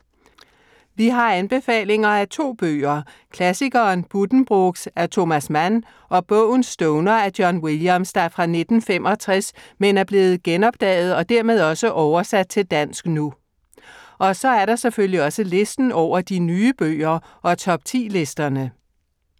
Vi har anbefalinger af to bøger. Klassikeren Buddenbrooks af Thomas Mann og bogen Stoner af John Williams, der er fra 1965, men er blevet genopdaget og dermed også oversat til dansk nu. Og så er der selvfølgelig også listen over de nye bøger og top 10-listerne.